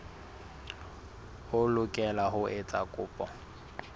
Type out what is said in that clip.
o lokela ho etsa kopo